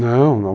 Não, não.